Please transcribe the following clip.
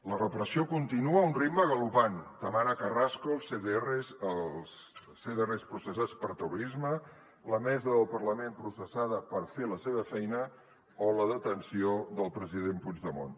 la repressió continua a un ritme galopant tamara carrasco els cdr processats per terrorisme la mesa del parlament processada per fer la seva feina o la detenció del president puigdemont